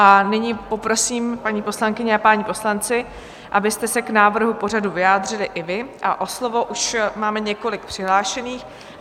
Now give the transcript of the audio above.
A nyní poprosím, paní poslankyně a páni poslanci, abyste se k návrhu pořadu vyjádřili i vy, a o slovo už máme několik přihlášených.